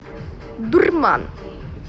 дурман